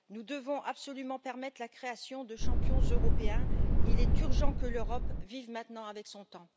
Nous devons absolument permettre la création de champions européens, il est urgent que l'Europe vive maintenant avec son temps.